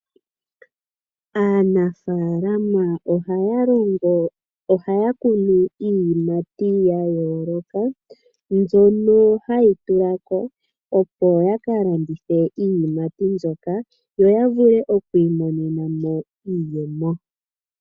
Aanafalama ohaya kunu iiyimati ya yooloka, mbyono hayi tula ko, opo ya kalandithe iiyimati mbyoka, yo ya vule okwiimonena mo iiyemo.